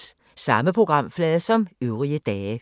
Samme programflade som øvrige dage